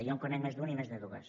jo en conec més d’un i més de dues